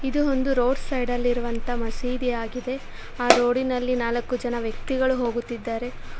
ಇದು ಒಂದು ರೋಡ್ ಸೈಡ ಲ್ಲಿ ಇರುವಂತಹ ಮಸೀದಿಯಾಗಿದೆ ಆ ರೋಡಿ ನಲ್ಲಿ ನಾಲ್ಕು ಜನ ವ್ಯಕ್ತಿಗಳು ಹೋಗುತ್ತಿದ್ದಾರೆ.